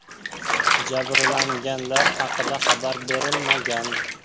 Jabrlanganlar haqida xabar berilmagan.